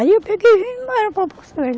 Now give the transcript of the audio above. Aí eu peguei e vim embora para Porto Velho.